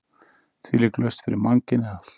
Þvílík lausn fyrir mannkynið allt!